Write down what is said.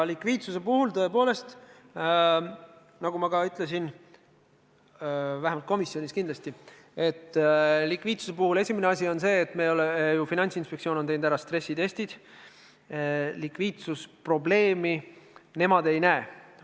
Likviidsuse puhul, tõepoolest, nagu ma ka ütlesin – vähemalt komisjonis –, on esimene asi see, et Finantsinspektsioon on teinud ära stressitestid ja nemad fondide puhul likviidsusprobleemi ei näe.